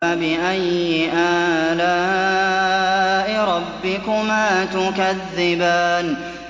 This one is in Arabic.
فَبِأَيِّ آلَاءِ رَبِّكُمَا تُكَذِّبَانِ